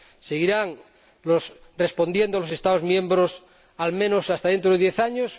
¿Seguirán respondiendo los Estados miembros al menos hasta dentro de diez años?